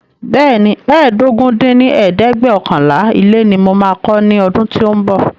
Bẹẹni, ẹ́ẹdógún dín ní ẹ̀ẹ́dẹ́gbẹ́ọ̀kànlá ilé ní mo máa kọ́ ní ọdún tí o ń bọ̀